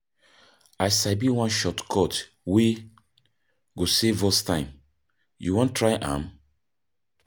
I sabi one shortcut wey go save us time, you wan try am?